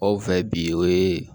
Anw fɛ bi o ye